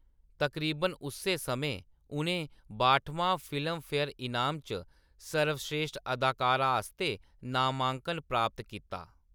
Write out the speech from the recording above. तकरीबन उस्सै समें, उʼनें बाह्टमें फिल्मफेयर इनाम च सर्वश्रेश्ठ अदाकारा आस्तै नामांकन प्राप्त कीता।